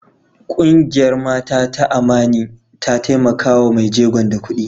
Kungiyar Mata ta Amani ta taimaka wa mai jegon da kudi.